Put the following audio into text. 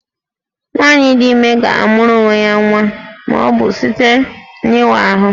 Nwaanyị dị ime ga-amụrụ onwe ya nwa ma ọ bụ site n'ịwa ahụ